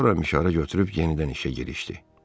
Sonra mişarı götürüb yenidən işə girişdi.